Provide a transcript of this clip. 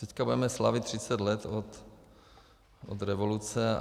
Teď budeme slavit 30 let od revoluce.